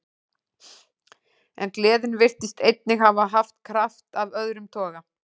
En gleðin virtist einnig hafa haft kraft af öðrum toga.